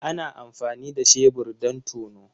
Ana amfani da shebur don tono.